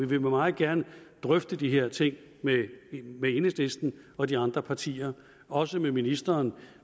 vil meget gerne drøfte de her ting med enhedslisten og de andre partier også med ministeren